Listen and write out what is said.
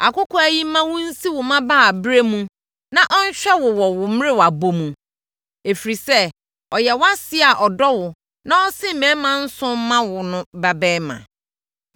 Akokoaa yi mma wo nsi wo mmabaawaberɛ mu na ɔnhwɛ wo wɔ wo mmerewabɔ mu. Ɛfiri sɛ ɔyɛ wʼase a ɔdɔ wo na ɔsene mmammarima nson ma wo no babarima.”